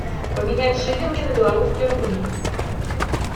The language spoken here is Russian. поменять шиллинги на белорусские рубли